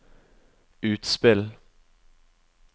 utspill